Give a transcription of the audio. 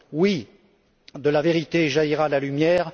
Oui, de la vérité jaillira la lumière!